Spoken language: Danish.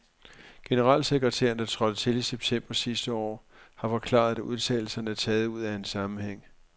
Generalsekretæren, der trådte til i september sidste år, har forklaret, at udtalelserne er taget ud af en sammenhæng.